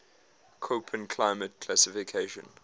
koppen climate classification